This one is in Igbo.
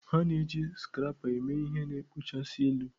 A na-eji scrapper eme ihe na-ekpochasị elu.